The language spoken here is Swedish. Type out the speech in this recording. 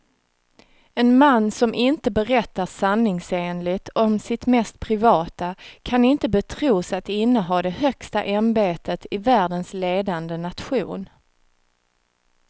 En man som inte berättar sanningsenligt om sitt mest privata kan inte betros att inneha det högsta ämbetet i världens ledande nation.